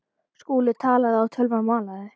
Skúli talaði og tölvan malaði.